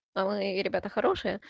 вы ребята хорошие